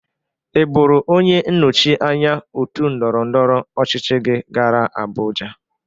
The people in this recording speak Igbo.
Ị bụrụ onye nnọchị anya otu ndọrọndọrọ ọchịchị gị gara Abụja?